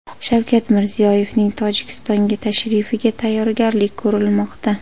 Shavkat Mirziyoyevning Tojikistonga tashrifiga tayyorgarlik ko‘rilmoqda.